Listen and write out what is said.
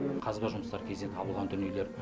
қазба жұмыстары кезінде табылған дүниелер